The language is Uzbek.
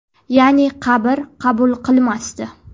Ya’ni qabr qabul qilmasdi.